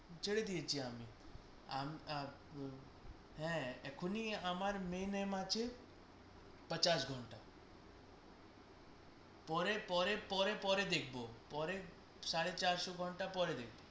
ছেড়ে দিয়েছি আমি আমি আহ আপ হ্যাঁ এখন আমার main aim আছে ঘন্টা পরে পরে পরে পরে দেখবো, সাড়ে চারশো ঘন্টা পরে দেখবো